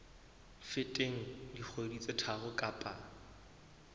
feteng dikgwedi tse tharo kapa